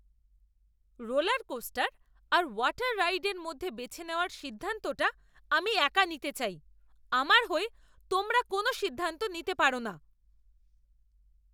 Roller coaster আর water রাইডের মধ্যে বেছে নেওয়ার সিদ্ধান্তটা আমি একা নিতে চাই, আমার হয়ে তোমরা কোনও সিদ্ধান্ত নিতে পারো না।